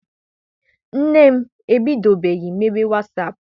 Nne m ebidobeghi mebe wasaapụ.